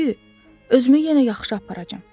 De ki, özümü yenə yaxşı aparacam.